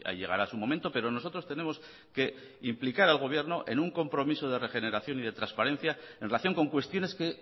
llegará su momento pero nosotros tenemos que implicar al gobierno en un compromiso de regeneración y de transparencia en relación con cuestiones que